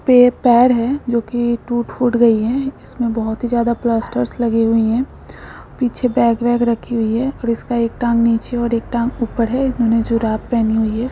ये पैर है जो की टूट-फूट गयी है इसमें बोहत ही ज्यादा प्लास्टरस लगे हुए है पीछे बैग-वैग रखी हुई है इसका एक टाँग नीचे और एक टाँग ऊपर हैइन्होंने जुराब पहनी हुई--